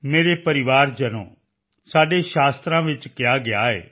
ਮੇਰੇ ਪਰਿਵਾਰਜਨੋ ਇਹ ਸਾਡੇ ਧਰਮ ਗ੍ਰੰਥਾਂ ਵਿੱਚ ਕਿਹਾ ਗਿਆ ਹੈ